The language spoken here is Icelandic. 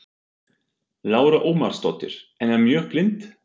Lára Ómarsdóttir: En er mjög blint?